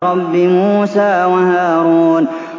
رَبِّ مُوسَىٰ وَهَارُونَ